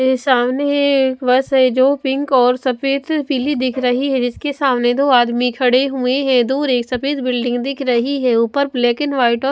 सामने एक बस है जो पिंक और सफेद पीली दिख रही है जिसके सामने दो आदमी खड़े हुए हैं दूर एक सफेद बिल्डिंग दिख रही है ऊपर ब्लैक एंड वाइट औ --